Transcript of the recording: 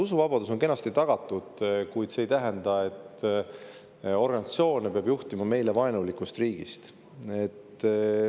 Usuvabadus on kenasti tagatud, kuid see ei tähenda, et organisatsioone peab juhtima meile vaenulikust riigist.